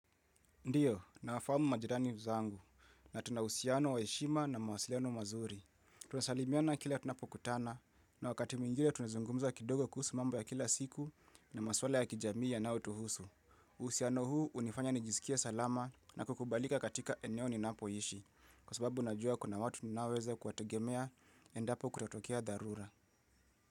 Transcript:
Ndiyo, nawafahamu majirani zangu na tunahusiano wa heshima na mawasiliano mazuri. Tunasalimiana kila tunapokutana na wakati mwingile tunazungumza kidogo kuhusu mambo ya kila siku na maswala ya kijamii yanaotuhusu. Usiano huu unifanya nijisikie salama na kukubalika katika eneo ni napoishi. Kwa sababu najua kuna watu ninaweza kuwategemea endapo kutatokea dharura.